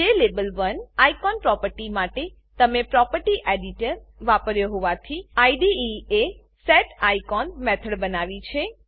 જ્લાબેલ1 icon property માટે તમે property editor property editor વાપર્યો હોવાથી આઇડીઇ એ સેટીકોન મેથડ બનાવી છે